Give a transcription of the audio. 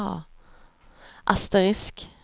asterisk